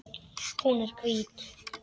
Hún er hvít.